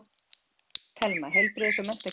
Telma: Heilbrigðis- og menntakerfið?